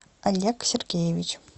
олег сергеевич